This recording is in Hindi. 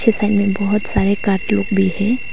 बहुत सारे काट लोग भी है।